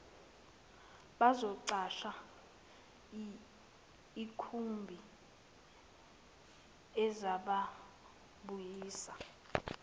bazoqasha ikhumbi ezababuyisa